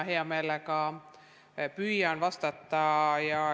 Hea meelega püüan vastata.